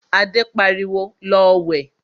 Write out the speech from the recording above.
Adé pariwo, 'Lọ wẹ̀'